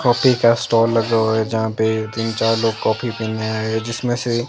coffee का stall लगा हुआ है जहां पे तीन चार लोग कॉफी पीने आए हैं जिसमें से--